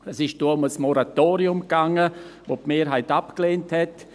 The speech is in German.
Es ging damals um ein Moratorium, das die Mehrheit abgelehnt hat.